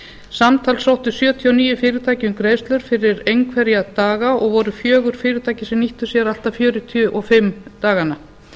samtals sóttu sjötíu og níu fyrirtæki um greiðslur fyrir einhverja daga og voru fjögur fyrirtæki sem nýttu sér allt að fjörutíu og fimm daganna